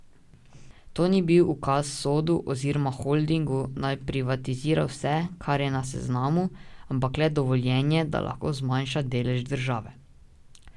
To ni bil ukaz Sodu oziroma holdingu, naj privatizira vse, kar je na seznamu, ampak le dovoljenje, da lahko zmanjša delež države.